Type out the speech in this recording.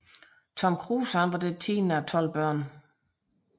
Tom Kruse var det tiende af tolv børn